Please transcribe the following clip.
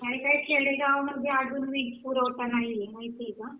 काही काही खेडे गावांमध्ये अजूनही वीज पुरवठा नाहीये माहितीये का